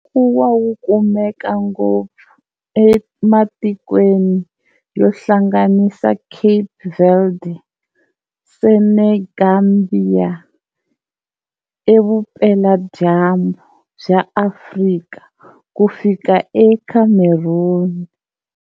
Nkuwa wu kumeka ngopfu ematikweni yo hlanganisa Cape Verde, Senegambia eVupela-dyambu bya Afrika kufika eCameroon.